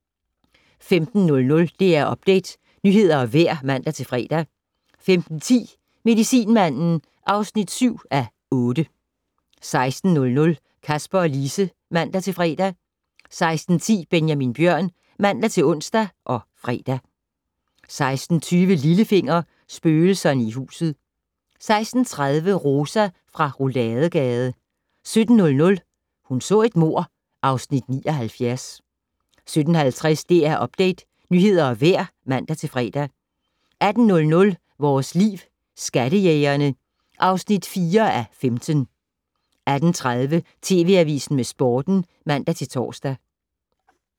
15:00: DR Update - nyheder og vejr (man-fre) 15:10: Medicinmanden (7:8) 16:00: Kasper og Lise (man-fre) 16:10: Benjamin Bjørn (man-ons og fre) 16:20: Lillefinger - Spøgelserne i huset 16:30: Rosa fra Rouladegade 17:00: Hun så et mord (Afs. 79) 17:50: DR Update - nyheder og vejr (man-fre) 18:00: Vores Liv: Skattejægerne (4:15) 18:30: TV Avisen med Sporten (man-tor)